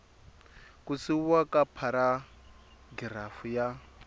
ku siviwa ka pharagirafu ya